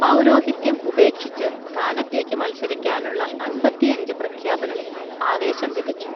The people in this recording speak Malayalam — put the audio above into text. പൗരോഹിത്യം ഉപേക്ഷിച്ച് സ്ഥാനത്തേക്കു മത്സരിക്കാനുള്ള അൻപത്തിയഞ്ച് പ്രഖ്യാപനം ആവേശം വിതച്ചു